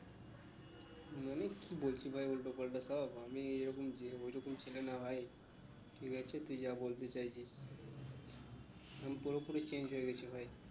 মানে কি বলছিস ভাই উল্টো পাল্টা সব আমি ওইরকম যে ওইরকম ছেলে না ভাই ঠিক আছে তুই যা বলতে চাইছিস আমি পুরো পুরি change হয়ে গেছি ভাই